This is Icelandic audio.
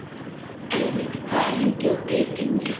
Elvin, hvað er lengi opið í Brynju?